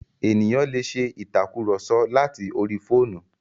Ènìyàn lè ṣe ìtàkurọ̀sọ láti orí fóònù.